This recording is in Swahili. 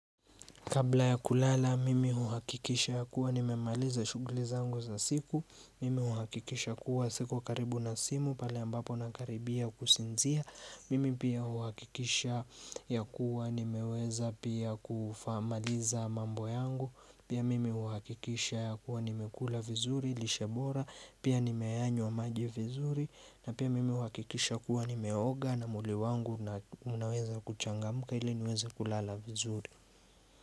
Kabla ya kulala, mimi uhakikisha ya kuwa nimemaliza shuguli zangu za siku. Mimi uhakikisha ya kuwa siko ukaribu na simu, pale ambapo nakaribia kusinzia. Mimi pia uhakikisha ya kuwa nimeweza pia kufaa maliza mambo yangu. Pia mimi uhakikisha yakuwa nimekula vizuri, lishe bora. Pia nimeayanywa maji vizuri. Na pia mimi uhakikisha ya kuwa nimeoga na mwili wangu na unaweza kuchangamuka ili niweza kulala vizuri.